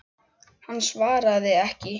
Hann svaraði ekki.